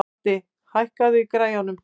Addi, hækkaðu í græjunum.